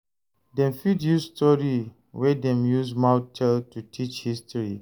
Dem fit use story wey dem use mouth tell to teach history.